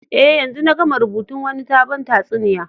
Eh, yanzun na gama rubutun Wani sabon tatsuniya.